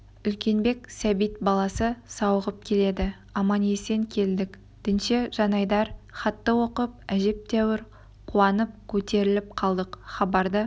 үлкенбек сәбит баласы сауығып келеді аман-есен келдік дінше жанайдар хатты оқып әжептәуір қуанып көтеріліп қалдық хабарды